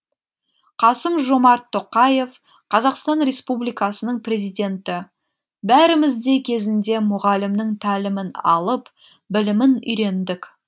қасым жомарт тоқаев қазақстан республикасының президенті бәріміз де кезінде мұғалімнің тәлімін алып білімін үйрендік